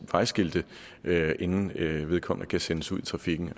vejskilte inden vedkommende kan sendes ud i trafikken